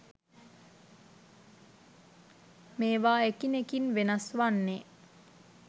මේවා එකිනෙකින් වෙනස් වන්නේ